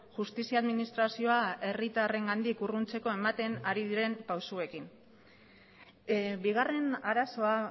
justizia administrazioa herritarrengandik urruntzeko ematen ari diren pausuekin bigarren arazoa